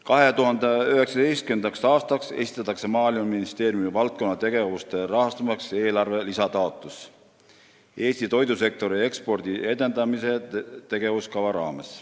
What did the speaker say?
2019. aastaks esitatakse Maaeluministeeriumi valdkonnategevuste rahastamiseks lisataotlus Eesti toidusektori ekspordi edendamise tegevuskava raames.